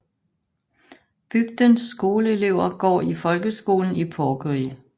Bygdens skoleelever går i folkeskolen i Porkeri